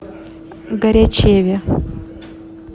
горячеве